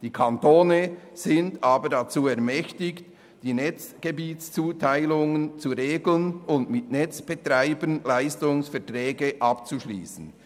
Die Kantone sind aber dazu ermächtigt, die Netzgebietszuteilungen zu regeln und mit Netzbetreibern Leistungsverträge abzuschliessen.